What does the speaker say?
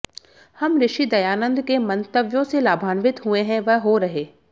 हम ऋषि दयानन्द के मन्तव्यों से लाभान्वित हुए हैं व हो रहे